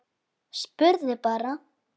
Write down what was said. Spurði bara.